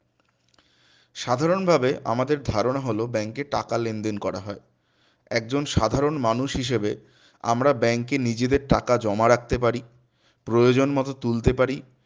সাধারণভাবে আমাদের ধারণা হল bank এ টাকা লেনদেন করা হয় একজন সাধারণ মানুষ হিসেবে আমরা bank এ নিজেদের টাকা জমা রাখতে পারি প্রয়োজনমত তুলতে পারি